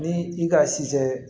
Ni i ka sijaɛ